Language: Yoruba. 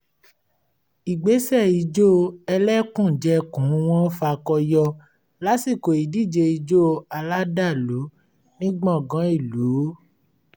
ìgbésẹ̀ ìjó ẹlẹ́kùnjẹkùn wọn fakọyọ lásìkò ìdíje ijó aládàlú ní gbàngán ìlú